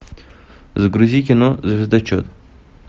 загрузи кино звездочет